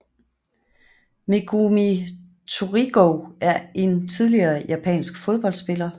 Megumi Torigoe er en tidligere japansk fodboldspiller